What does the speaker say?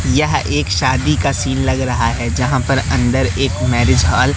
यह एक शादी का सीन लग रहा है जहां पर अंदर एक मैरिज हॉल --